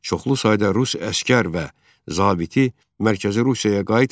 Çoxlu sayda rus əsgər və zabiti mərkəzi Rusiyaya qayıtmayıb.